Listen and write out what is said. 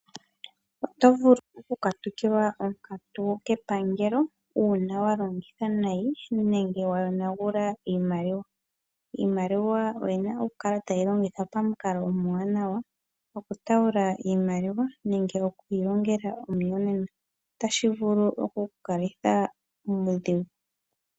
Otovulu okukatukilwa onkatu kepangelo uuna walongitha nayi iimaliwa nenge ngele weyi yonagula, iimaliwa oya pumbwa okukala tayi longithwa pamukalo omwaanawa. Oku tuula iimaliwa nenge okwiilongela omuyonena otashi vulu okukalitha muudhigu .